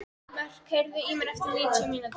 Mörk, heyrðu í mér eftir níutíu mínútur.